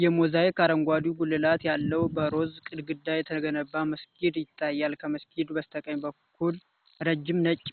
የሞዛይክ አረንጓዴ ጉልላት ያለው፣ በሮዝ ግድግዳ የተገነባ መስጊድ ይታያል። ከመስጊዱ በስተቀኝ በኩል ረጅም ነጭ